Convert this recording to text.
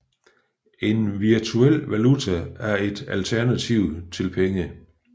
En virtuel valuta er et alternativ til penge